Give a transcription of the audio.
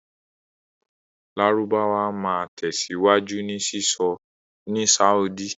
Lárúbáwá máa tẹ̀síwájú ní sísọ ní Sáúdí.